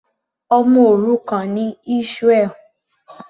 Ọmọ òrukàn ni Israel.